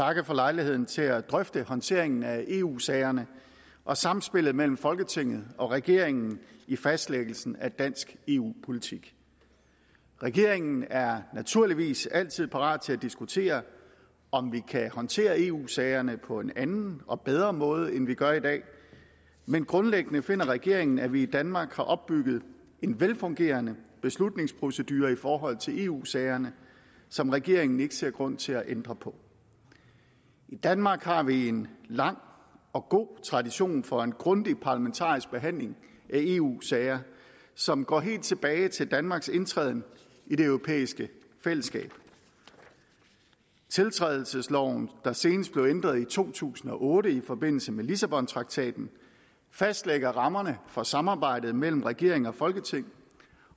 takke for lejligheden til at drøfte håndteringen af eu sagerne og samspillet mellem folketinget og regeringen i fastlæggelsen af dansk eu politik regeringen er naturligvis altid parat til at diskutere om vi kan håndtere eu sagerne på en anden og bedre måde end vi gør i dag men grundlæggende finder regeringen at vi i danmark har opbygget en velfungerende beslutningsprocedure i forhold til eu sagerne som regeringen ikke ser grund til at ændre på i danmark har vi en lang og god tradition for en grundig parlamentarisk behandling af eu sager som går helt tilbage til danmarks indtræden i det europæiske fællesskab tiltrædelsesloven der senest blev ændret i to tusind og otte i forbindelse med lissabontraktaten fastlægger rammerne for samarbejdet mellem regering og folketing